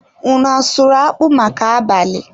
Unu asụrụ akpụ maka abalị?